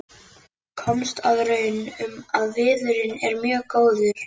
Komst að raun um að viðurinn er mjög góður.